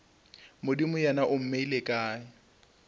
modimo yena o mmeile kae